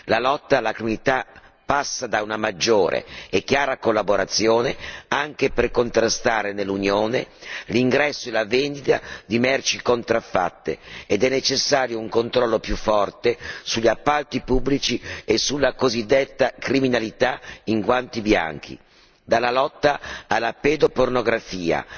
La lotta alla criminalità passa da una maggiore e chiara collaborazione anche per contrastare nell'Unione l'ingresso e la vendita di merci contraffatte ed è necessario un controllo più forte sugli appalti pubblici e sulla cosiddetta criminalità in guanti bianchi. Dalla lotta alla pedopornografia